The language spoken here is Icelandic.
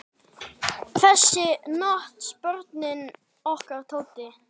Þess nutu börnin okkar Tótu.